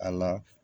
A la